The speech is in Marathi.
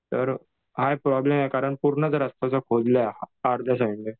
हाय प्रॉब्लेम कारण पूर्णच रास्ता खोदलंय अर्ध्य साईडने.